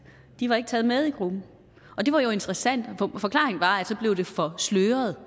de var ikke taget med i gruppen og det var jo interessant og forklaringen var at det så blev for sløret